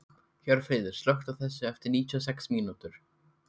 Hjörfríður, slökktu á þessu eftir níutíu og sex mínútur.